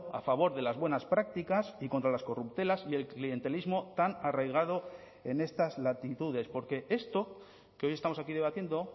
a favor de las buenas prácticas y contra las corruptelas y el clientelismo tan arraigado en estas latitudes porque esto que hoy estamos aquí debatiendo